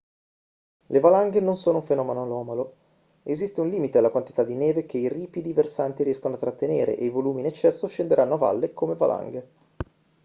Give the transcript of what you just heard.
le valanghe non sono un fenomeno anomalo esiste un limite alla quantità di neve che i ripidi versanti riescono a trattenere e i volumi in eccesso scenderanno a valle come valanghe